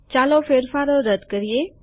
ચાલો ફેરફારો રદ કરીએ